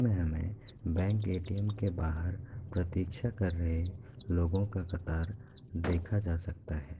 हमें bank ATM. के बाहर प्रतीक्षा कर रहे लोगों का कतार देखा जा सकता है।